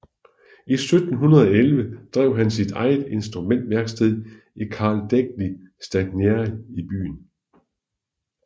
I 1711 drev han her sit eget instrumentværksted i Calle degli Stagneri i byen